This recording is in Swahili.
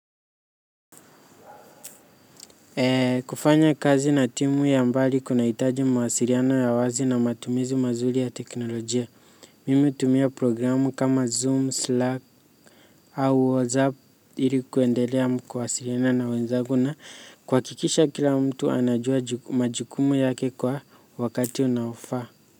Kufanya kazi na timu ya mbali kunahitaji mawasiliano ya wazi na matumizi mazuri ya teknolojia. Mimi hutumia programu kama zoom slack au whatsapp ili kuendelea mkuwasiliana na wenzangu na kuhakikisha kila mtu anajua majukumu yake kwa wakati unaofaa.